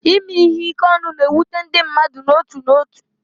Ime ihe ike ọnụ na-ewute ndị mmadụ n'otu n'otu.